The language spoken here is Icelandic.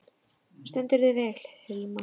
Þú stendur þig vel, Hilma!